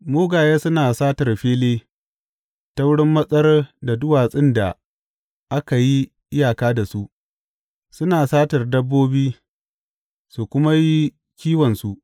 Mugaye suna satar fili ta wurin matsar da duwatsun da aka yi iyaka da su; suna satar dabbobi su kuma yi kiwon su.